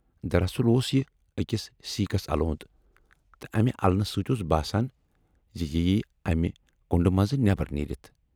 دراصل اوس یہِ ٲکِس سیٖکھس الوند تہٕ امہِ النہٕ سۭتۍ اوس باسان زِ یہِ یِیہِ امہِ کُنڈٕ منز نٮ۪برَ نیٖرِتھ۔